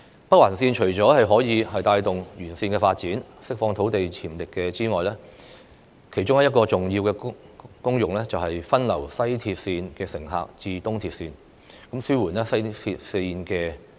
北環綫除了可以帶動有關鐵路的沿線發展，釋放土地潛力之外，其中一個重要的功能是把西鐵綫的乘客分流至東鐵綫，紓緩西鐵綫的壓力。